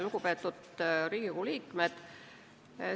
Lugupeetud Riigikogu liikmed!